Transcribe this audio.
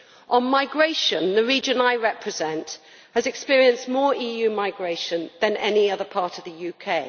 On migration, the region I represent has experienced more EU migration than any other part of the UK.